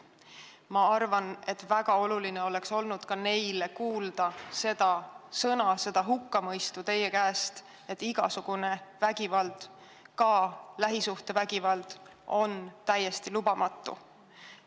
Ma arvan, et ka neile oleks olnud väga oluline kuulda teie suust neid sõnu, seda hukkamõistu, et igasugune vägivald, ka lähisuhtevägivald on täiesti lubamatu.